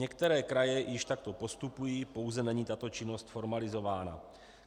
Některé kraje již takto postupují, pouze není tato činnost formalizována.